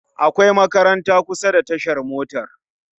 Akwai makaranta kusa da tashar motar